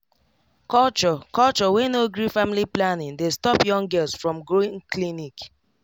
culture culture wey no gree family planning dey stop young girls from going clinic